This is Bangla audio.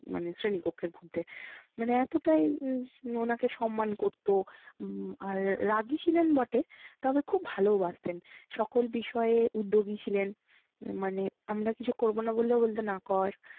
মানে শ্রেণীকক্ষের মধ্যে। মানে এতটাই উম ওনাকে সম্মান করতো। উম আর রাগী ছিলেন বটে তবে খুব ভালোওবাসতেন। সকল বিষয়ে উদ্যোগী ছিলেন মানে আমরা কিছু করবো না বললেও বলতেন না কর